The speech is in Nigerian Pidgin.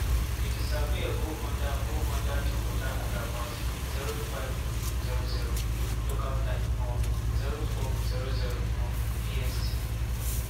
e disappear go under go under di water at about 05:00 local time um (04:00 um bst).